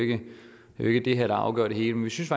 ikke det her der afgør det hele men vi synes